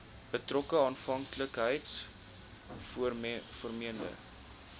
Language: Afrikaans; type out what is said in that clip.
betrokke afhanklikheids vormende